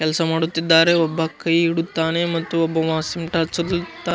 ಕೆಲ್ಸ ಮಾಡುತ್ತಿದ್ದಾರೆ ಒಬ್ಬ ಕೈ ಇಡುತ್ತಾನೆ ಮತ್ತು ಒಬ್ಬವ್ ಸಿಂಟಾ ಹಂಚಲು --